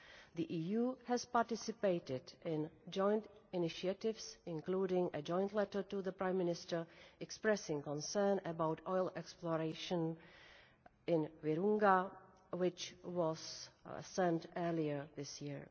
The EU has participated in joint initiatives, including a joint letter to the Prime Minister, expressing concern about oil exploration in Virunga, which was sent earlier this year.